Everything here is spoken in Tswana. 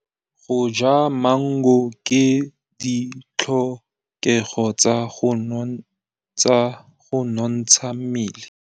Go ja maungo ke ditlhokegô tsa go nontsha mmele.